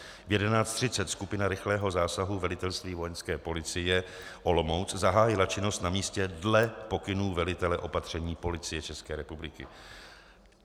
V 11.30 skupina rychlého zásahu velitelství Vojenské policie Olomouc zahájila činnost na místě dle pokynů velitele opatření Policie České republiky.